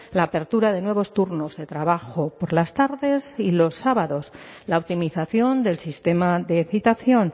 la apertura de nuevos turnos de trabajo por las tardes y los sábados la optimización del sistema de citación